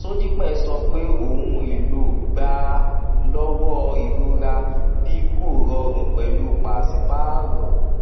sódípè sọ pé ohun èlò gbà á lọwọ ìrora bí kò rọrùn pẹlú pàṣípààrọ